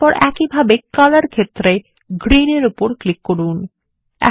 এরপর একইভাবে কলর ক্ষেত্রে গ্রীন এর উপর ক্লিক করুন